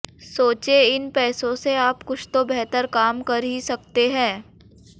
सोचें इन पैसों से आप कुछ तो बेहतर काम कर ही सकते हैं